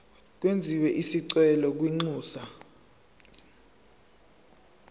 kwenziwe isicelo kwinxusa